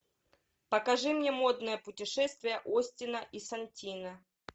покажи мне модное путешествие остина и сантино